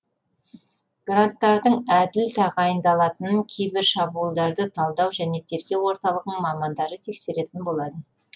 гранттардың әділ тағайындалатынын кибер шабуылдарды талдау және тергеу орталығының мамандары тексеретін болады